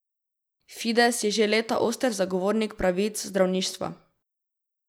Fides je že leta oster zagovornik pravic zdravništva.